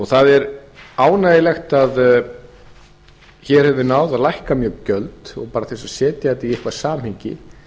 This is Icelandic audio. það er ánægjulegt að hér höfum við náð að lækka mjög gjöld og bara til að setja þetta í eitthvað samhengi